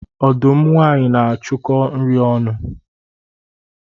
Ọdụm nwanyị na-achụkọ nri ọnụ